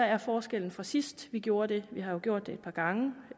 er forskellen fra sidst vi gjorde det vi har jo gjort det et par gange